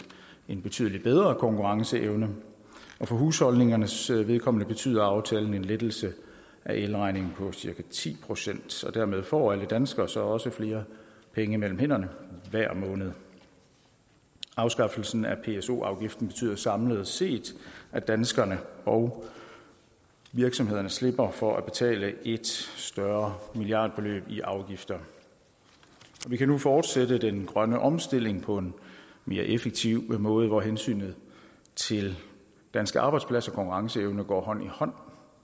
en betydelig bedre konkurrenceevne og for husholdningernes vedkommende betyder aftalen en lettelse af elregningen på cirka ti procent dermed får alle danskere så også flere penge mellem hænderne hver måned afskaffelsen af pso afgiften betyder samlet set at danskerne og virksomhederne slipper for at betale et større milliardbeløb i afgifter og vi kan nu fortsætte den grønne omstilling på en mere effektiv måde hvor hensynet til danske arbejdspladser og konkurrenceevne går hånd i hånd